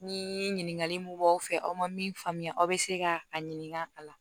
Ni ɲininkali mun b'aw fɛ aw ma min faamuya aw bɛ se ka a ɲininka a la